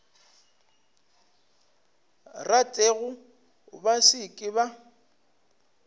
ratego ba se ke ba